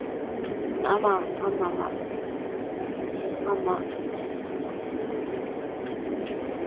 உம் ஆமா ஆமா மா